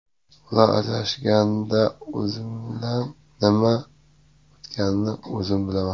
Ular ajrashganida o‘zimdan nima o‘tganini o‘zim bilaman.